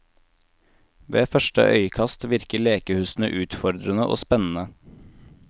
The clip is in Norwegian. Ved første øyekast virker lekehusene utfordrende og spennende.